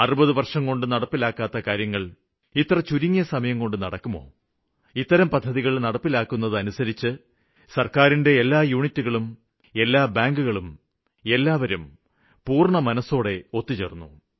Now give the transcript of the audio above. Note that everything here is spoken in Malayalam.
60 വര്ഷംകൊണ്ട് നടപ്പിലാക്കാത്ത കാര്യങ്ങള് ഇത്ര ചുരുങ്ങിയ സമയംകൊണ്ട് നടക്കുമോ ഈ പദ്ധതികള് നടപ്പിലാക്കുന്നതിനായി സര്ക്കാരിന്റെ എല്ലാ ഘടകങ്ങളും എല്ലാ ബാങ്കുകളും എല്ലാവരും പൂര്ണ്ണ മനസ്സോടെ ഒത്തുചേര്ന്നു